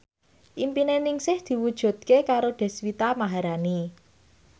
impine Ningsih diwujudke karo Deswita Maharani